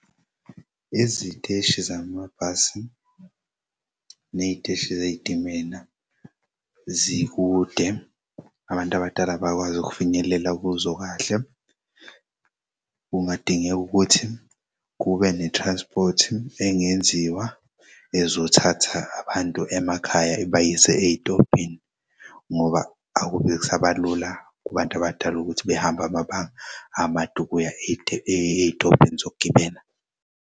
Iziteshi zamabhasi ney'teshi zey'timela zikude abantu abadala bakwazi ukufinyelela kuzo kahle. Kungadingeka ukuthi kube ne-transport engenziwa ezothatha abantu emakhaya ibayise ey'tobhini ngoba akube kusabalula kubantu abadala ukuthi bahambe amabanga amade ukuya ey'tobhini zokugibela.